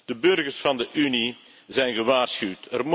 De burgers van de Unie zijn gewaarschuwd.